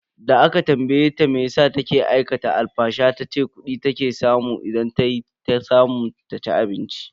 Da aka tambaye ta meyasa take aikata alfasha tace kudi take samu idan tayi ta samu ta ci abinci.